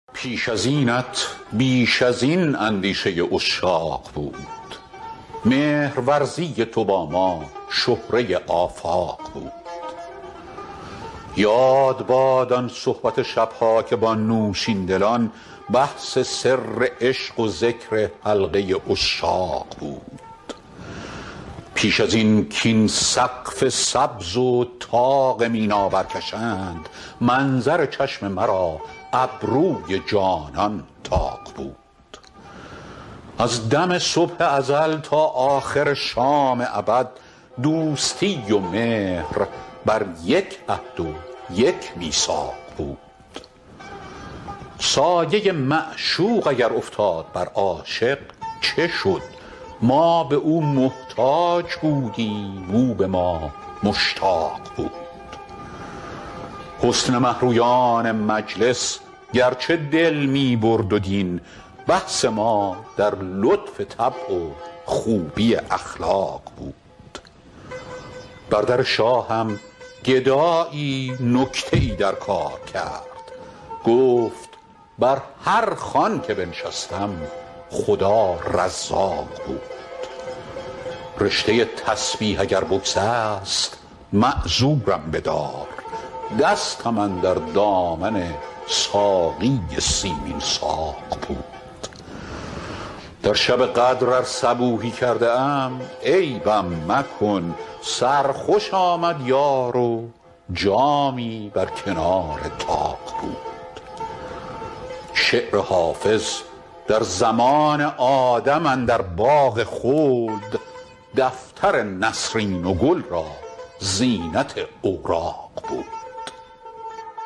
پیش از اینت بیش از این اندیشه عشاق بود مهرورزی تو با ما شهره آفاق بود یاد باد آن صحبت شب ها که با نوشین لبان بحث سر عشق و ذکر حلقه عشاق بود پیش از این کاین سقف سبز و طاق مینا برکشند منظر چشم مرا ابروی جانان طاق بود از دم صبح ازل تا آخر شام ابد دوستی و مهر بر یک عهد و یک میثاق بود سایه معشوق اگر افتاد بر عاشق چه شد ما به او محتاج بودیم او به ما مشتاق بود حسن مه رویان مجلس گرچه دل می برد و دین بحث ما در لطف طبع و خوبی اخلاق بود بر در شاهم گدایی نکته ای در کار کرد گفت بر هر خوان که بنشستم خدا رزاق بود رشته تسبیح اگر بگسست معذورم بدار دستم اندر دامن ساقی سیمین ساق بود در شب قدر ار صبوحی کرده ام عیبم مکن سرخوش آمد یار و جامی بر کنار طاق بود شعر حافظ در زمان آدم اندر باغ خلد دفتر نسرین و گل را زینت اوراق بود